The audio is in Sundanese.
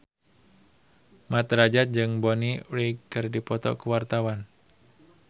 Mat Drajat jeung Bonnie Wright keur dipoto ku wartawan